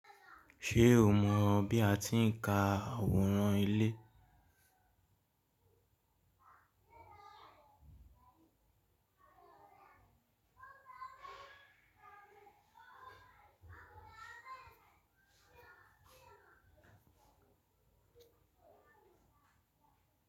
Ṣé o mọ bí a ti ń ka àwòrán ilé?